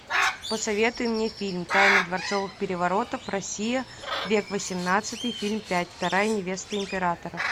посоветуй мне фильм тайны дворцовых переворотов россия век восемнадцатый фильм пять вторая невеста императора